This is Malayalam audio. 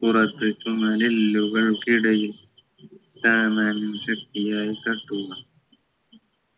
പുറത്തെത്തുള്ള എല്ലുകൾക്കിടയിൽ ശക്തിയായി തട്ടുക